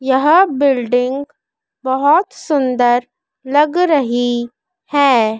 यह बिल्डिंग बहोंत सुंदर लग रही हैं।